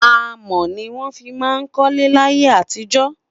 amò ní wọn fí má kólé láyé àtijọ